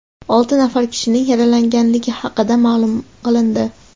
Olti nafar kishining yaralanganligi haqida ma’lum qilindi.